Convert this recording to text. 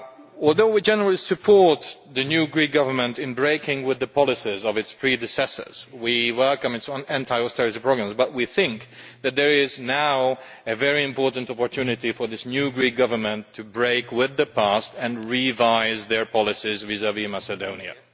Although we generally support the new Greek Government in breaking with the policies of its predecessors and we welcome its anti austerity programmes, we think that there is now a very important opportunity for this new Greek Government to break with the past and revise their policies vis vis Macedonia.